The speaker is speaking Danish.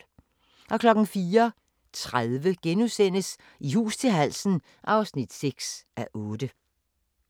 04:30: I hus til halsen (6:8)*